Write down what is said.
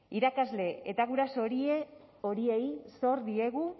irakasle eta guraso horiei zor diegu